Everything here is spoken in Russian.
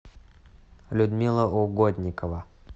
людмила угодникова